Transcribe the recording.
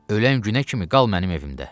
Ölən günə kimi qal mənim evimdə.